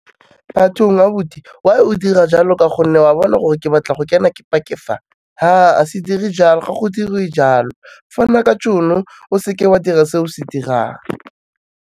Bathong abuti why o dira jalo ka gonne o a bona gore ke batla go kena ke park-e fa, ha a se dire jalo ga go diriwe jalo, fana ka tšhono o seke wa dira se o se dirang.